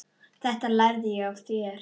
Þetta lærði ég af þér.